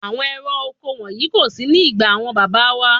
Àwọn ẹ̀rọ oko wọ̀nyí kò sí ní ìgbà àwọn bàbá wá.